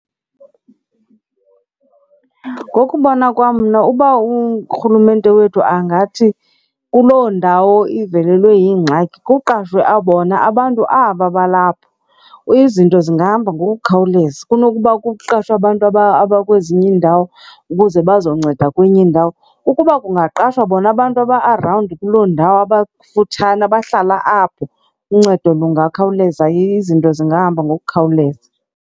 Ngokubona kwam mna uba urhulumente wethu angathi kuloo ndawo ivelelwe yingxaki kuqashwe bona abantu aba balapho izinto zingahamba ngoku khawuleza kunokuba kuqeshwe abantu abakwezinye iindawo ukuze bazokunceda kwenye indawo. Ukuba kungaqashwa bona abantu aba-arawundi kuloo ndawo abakufutshane abahlala apho uncedo kungakhawuleza. Izinto zingahamba ngokukhawuleza.